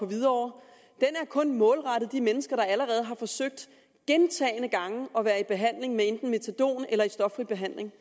hvidovre er kun målrettet de mennesker der allerede har forsøgt gentagne gange at være i behandling enten med metadon eller i stoffri behandling